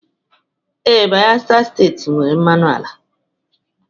Ee, Bayelsa Steeti nwere, mmanụ ala.